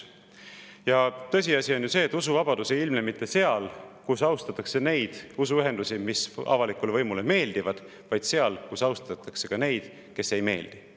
On ju tõsiasi, et usuvabadus ei ilmne mitte seal, kus austatakse neid usuühendusi, mis avalikule võimule meeldivad, vaid seal, kus austatakse ka neid, kes ei meeldi.